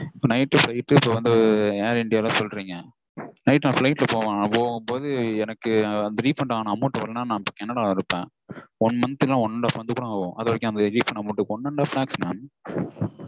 இப்போ night flight இப்போ வந்து air india -ல சொல்றீங்க. Night நா flight -ல போகும்போது எனக்கு அந்த refund ஆன amount வரலனா நா கனடால இருப்பேன். one month இல்லனா one and half month கூட ஆகும். அதுவரைக்கும் அந்த refund amount one and half lakhs mam?